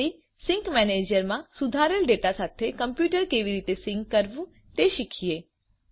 અંતે સિંક મેનેજરમાં સુધારેલ ડેટા સાથે મૂળ કમ્પ્યુટરને કેવી રીતે સિંક કરવું તે શીખીએ